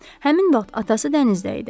Həmin vaxt atası dənizdə idi.